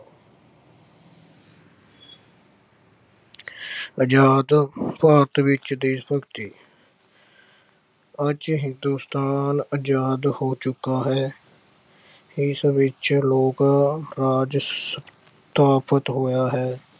ਆਜ਼ਾਦ ਭਾਰਤ ਵਿੱਚ ਦੇਸ਼ ਭਗਤੀ ਅੱਜ ਹਿੰਦੁਸਤਾਨ ਆਜ਼ਾਦ ਹੋ ਚੁੱਕਾ ਹੈ ਇਸ ਵਿੱਚ ਲੋਕ ਰਾਜ ਆਹ ਸਥਾਪਤ ਹੋਇਆ ਹੈ।